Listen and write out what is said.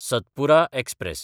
Satpura express